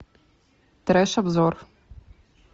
треш обзор